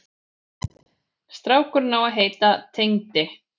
Strákurinn á að heita Tengdi.